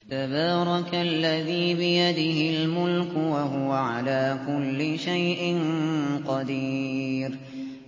تَبَارَكَ الَّذِي بِيَدِهِ الْمُلْكُ وَهُوَ عَلَىٰ كُلِّ شَيْءٍ قَدِيرٌ